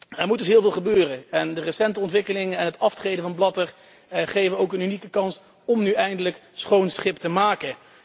Er moet dus heel veel gebeuren en de recente ontwikkelingen en het aftreden van Blatter geven ook een unieke kans om nu eindelijk schoon schip te maken.